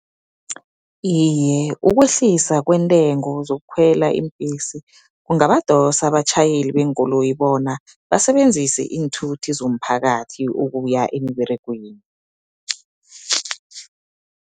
Iye, ukwehlisa kweentengo zokukhwela iimbhesi, kungabadosa abatjhayeli beenkoloyi bona, basebenzise iinthuthi zomphakathi ukuya emiberegweni.